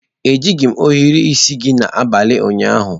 Ejighị m ohiri isi gị abalị ụnyaahụ.